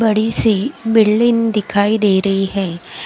बड़ी सी बिल्डिंग दिखाई दे रही है।